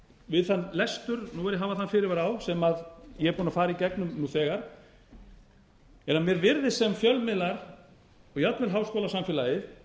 við þann lestur nú verð ég að hafa þann fyrirvara á sem ég er búinn að fara í gegnum nú þegar en mér virðist sem fjölmiðlar og jafnvel háskólasamfélagið